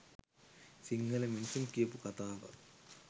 සිංහල මිනිසුන් කියපු කතාවක්.